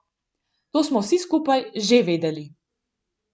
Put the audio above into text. To smo vsi skupaj že vedeli.